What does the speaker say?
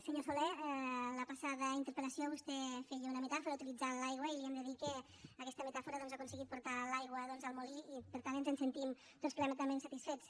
senyor soler en la passada interpel·lació vostè feia una metàfora utilitzant l’aigua i li hem de dir que en aquesta metàfora doncs ha aconseguit portar l’aigua doncs al molí i per tant ens en sentim tots plenament satisfets